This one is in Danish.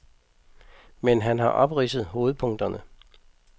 Men han har opridset hovedpunkterne.